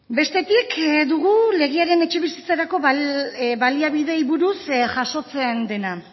bestetik dugu legearen etxebizitzarako baliabideei buruz jasotzen dena